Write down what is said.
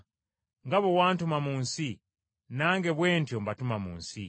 Nga bwe wantuma mu nsi, nange bwe ntyo mbatuma mu nsi.